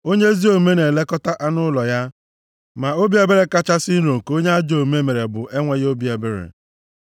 Onye ezi omume na-elekọta anụ ụlọ ya, ma obi ebere kachasị nro nke onye ajọ omume mere bụ enweghị obi ebere.